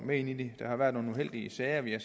med i det der har været nogle uheldige sager vi har